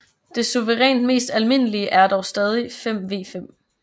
Det suverænt mest almindelige er dog stadig 5v5